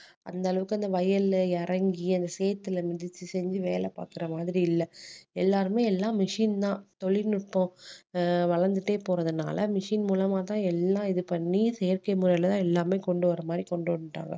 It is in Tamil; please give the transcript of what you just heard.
அந்த அளவுக்கு அந்த வயல்ல இறங்கி அந்த சேத்துல மிதிச்சு செஞ்சு வேலை பாக்குற மாதிரி இல்ல எல்லாருமே எல்லாம் machine தான் தொழில்நுட்பம் ஆஹ் வளர்ந்துட்டே போறதுனால machine மூலமா தான் எல்லாம் இது பண்ணி செயற்கை முறையில தான் எல்லாமே கொண்டு வர மாதிரி கொண்டு வந்துட்டாங்க